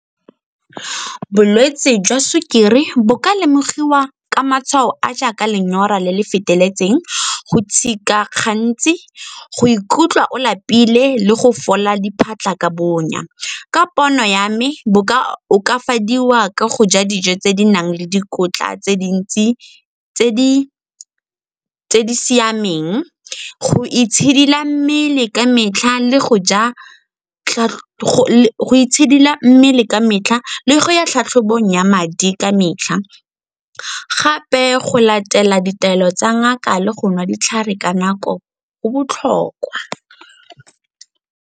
Bolwetse jwa sukiri bo ka lemogiwa ka matshwao a jaaka lenyora le le feteletseng, go gantsi, go ikutlwa o lapile le go fola diphatlha ka bonya. Ka pono ya me, bo ka okafadiwa ka go ja dijo tse di nang le dikotla tse dintsi tse di siameng, go itshidila mmele ka metlha le go ya tlhatlhobong ya madi ka metlha. Gape go latela ditaelo tsa ngaka le go nwa ditlhare ka nako go botlhokwa.